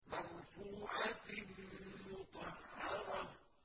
مَّرْفُوعَةٍ مُّطَهَّرَةٍ